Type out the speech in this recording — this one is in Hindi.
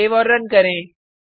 सेव और रन करें